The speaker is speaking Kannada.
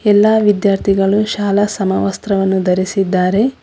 ಎಲ್ಲಾ ವಿಧ್ಯಾರ್ಥಿಗಳು ಶಾಲಾ ಸಮವಸ್ತ್ರವನ್ನು ಧರಿಸಿದ್ದಾರೆ.